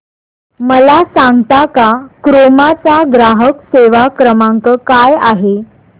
मला सांगता का क्रोमा चा ग्राहक सेवा क्रमांक काय आहे